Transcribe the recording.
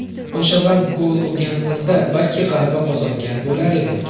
O‘sha vaqt gol urganimizda, balki g‘alaba qozongan bo‘lar edik.